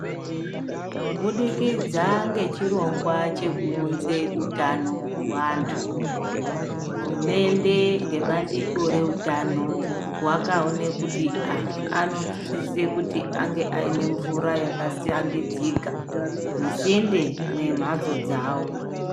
Kubudikidza ngechirongwa chekuunze utano muantu ,hurumente nebandiko reutano vakaona kuti antu anosise kuti ange anemvura yakashambidzika musinde yemhatso dzawo.